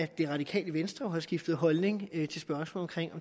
det radikale venstre skiftet holdning